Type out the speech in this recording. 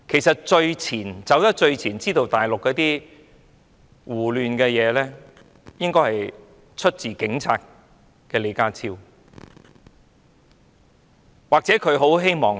在最前線了解大陸的胡亂情況的人，應該是警察出身的李家超局長。